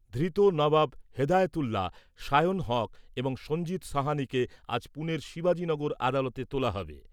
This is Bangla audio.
ধৃত নবাব হেদায়তুল্লাহ, সায়ন হক এবং সঞ্জিত সাহানিকে আজ পুনের শিবাজী নগর আদালতে তোলা হবে।